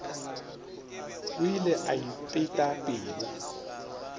o ile a ipeta pelo